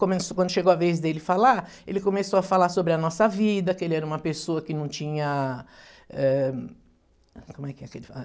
Quando chegou a vez dele falar, ele começou a falar sobre a nossa vida, que ele era uma pessoa que não tinha, eh... Como é que é que ele fala?